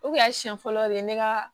O kun y'a siɲɛ fɔlɔ de ye ne ka